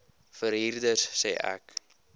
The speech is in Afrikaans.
verhuurder sê ek